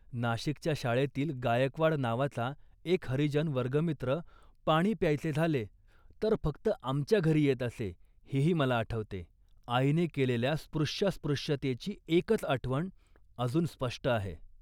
नाशिकच्या शाळेतील गायकवाड नावाचा एक हरिजन वर्गमित्र पाणी प्यायचे झाले, तर फक्त आमच्या घरी येत असे, हेही मला आठवते. आईने केलेल्या स्पृश्यास्पृश्यतेची एकच आठवण अजून स्पष्ट आहे